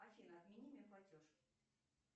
афина отмени мне платеж